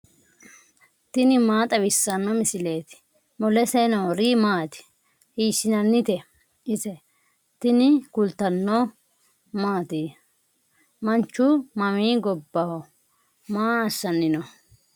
tini maa xawissanno misileeti ? mulese noori maati ? hiissinannite ise ? tini kultannori mattiya? Manchu mami gobbaho ? Maa assanni noo?